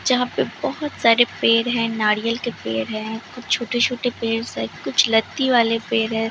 जहां पे बहोत सारे पेड़ है नारियल के पेड़ है कुछ छोटे छोटे पेड़ शायद कुछ लत्ती वाले पेड़ है।